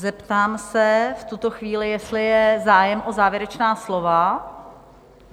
Zeptám se v tuto chvíli, jestli je zájem o závěrečná slova?